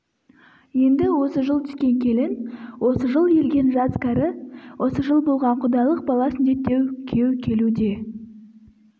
енді осы жыл түскен келін осы жыл елген жас-кәрі осы жыл болған құдалық бала сүндеттеу күйеу келу де